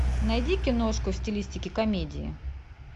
найди киношку в стилистике комедии